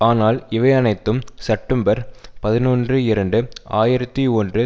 ஆனால் இவை அனைத்தும் செப்டம்பர் பதினொன்று இரண்டு ஆயிரத்தி ஒன்று